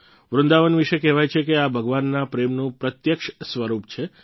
વૃંદાવન વિશે કહેવાય છે કે આ ભગવાનના પ્રેમનું પ્રત્યક્ષ સ્વરૂપ છે